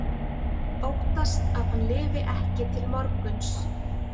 Óttast að hann lifi ekki til morguns.